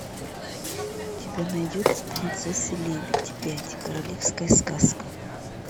у тебя найдется принцесса лебедь пять королевская сказка